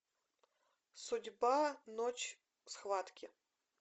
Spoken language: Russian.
судьба ночь схватки